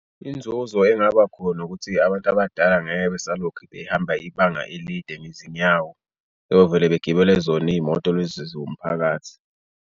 Inzuzo engabakhona ukuthi abantu abadala ngeke besalokhu behamba ibanga elide ngezinyawo beyovele begibele zona iy'moto lezi zomphakathi.